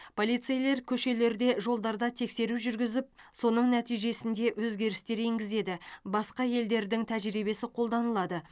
полицейлер көшелерде жолдарда тексеру жүргізіп соның нәтижесінде өзгерістер енгізеді басқа елдердің тәжірибесі қолданылады